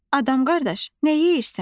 Adam qardaş, nə yeyirsən?